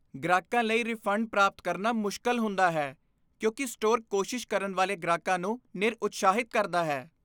ਗ੍ਰਾਹਕਾਂ ਲਈ ਰਿਫੰਡ ਪ੍ਰਾਪਤ ਕਰਨਾ ਮੁਸ਼ਕਲ ਹੁੰਦਾ ਹੈ ਕਿਉਂਕਿ ਸਟੋਰ ਕੋਸ਼ਿਸ਼ ਕਰਨ ਵਾਲੇ ਗ੍ਰਾਹਕਾਂ ਨੂੰ ਨਿਰਉਤਸ਼ਾਹਿਤ ਕਰਦਾ ਹੈ।